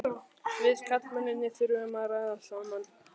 Við karlmennirnir þurfum að ræða saman.